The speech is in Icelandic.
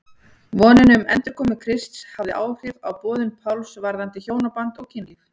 Vonin um endurkomu Krists hafði áhrif á boðun Páls varðandi hjónaband og kynlíf.